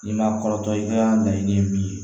N'i ma kɔrɔtɔ i ka laɲini ye min ye